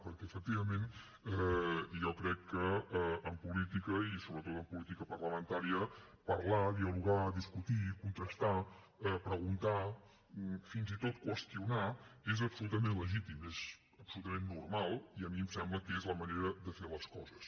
perquè efectivament jo crec que en política i sobretot en política parlamentària parlar dialogar discutir contrastar preguntar fins i tot qüestionar és absolutament legítim és absolutament normal i a mi em sembla que és la manera de fer les coses